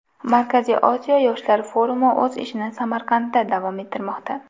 Markaziy Osiyo yoshlar forumi o‘z ishini Samarqandda davom ettirmoqda.